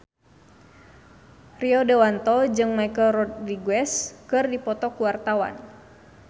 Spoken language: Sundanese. Rio Dewanto jeung Michelle Rodriguez keur dipoto ku wartawan